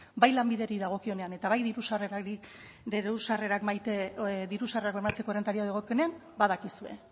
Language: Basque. bai lanbideri dagokionean eta bai diru sarrerak bermatzeko errentari dagokienean badakizue